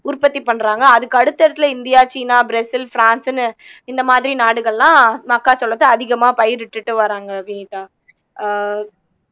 உற்பத்தி பண்றாங்க அதுக்கு அடுத்த இடத்துல இந்தியா சீனா பிரேசில் பிரான்ஸ்ன்னு இந்த மாதிரி நாடுகள்லாம் மக்காச்சோளத்தை அதிகமா பயிரிட்டுட்டு வர்றாங்க வினிதா அஹ்